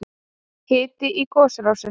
Hiti í gosrásinni